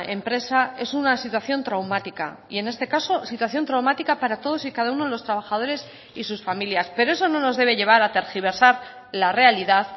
empresa es una situación traumática y en este caso situación traumática para todos y cada uno de los trabajadores y sus familias pero eso no nos debe llevar a tergiversar la realidad